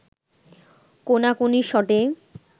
কোনাকুনি শটে